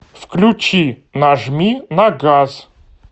включи нажми на газ